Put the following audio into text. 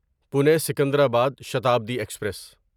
Pune Secunderabad Shatabdi express